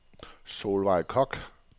Solvejg Koch